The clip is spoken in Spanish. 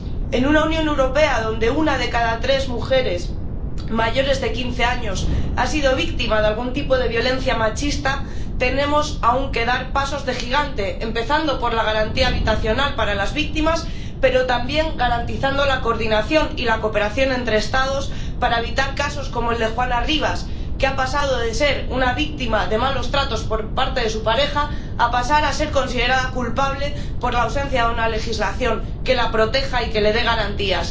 En una Unión Europea donde una de cada tres mujeres mayores de 15 años ha sido víctima de algún tipo de violencia machista, tenemos que dar aún pasos de gigante, empezando por la garantía habitacional para las víctimas, pero, también, garantizando la coordinación y la cooperación entre Estados para evitar casos como el de Juana Rivas, que ha pasado de ser una víctima de malos tratos por parte de su pareja a pasar a ser considerada culpable por la ausencia de una legislación que la proteja y que le dé garantías.